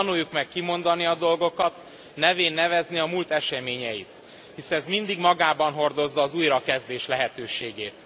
Tanuljuk meg kimondani a dolgokat, nevén nevezni a múlt eseményeit, hisz ez mindig magában hordozza az újrakezdés lehetőségét.